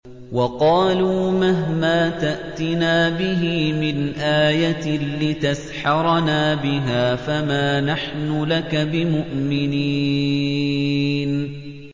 وَقَالُوا مَهْمَا تَأْتِنَا بِهِ مِنْ آيَةٍ لِّتَسْحَرَنَا بِهَا فَمَا نَحْنُ لَكَ بِمُؤْمِنِينَ